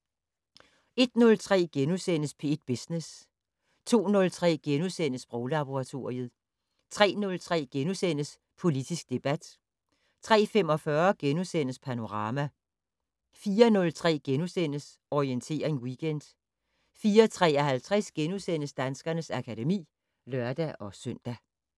01:03: P1 Business * 02:03: Sproglaboratoriet * 03:03: Politisk debat * 03:45: Panorama * 04:03: Orientering Weekend * 04:53: Danskernes akademi *(lør-søn)